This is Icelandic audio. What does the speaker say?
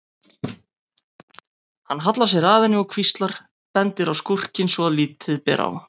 Hann hallar sér að henni og hvíslar, bendir á skúrkinn svo að lítið ber á.